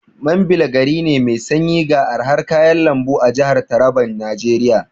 Mambila gari ne mai sanyi ga arhan kayan lambu a jahar Taraban Najeriya.